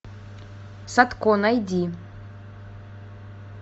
садко найди